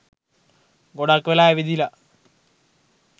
ගොඩක් වෙලා ඇවිදලා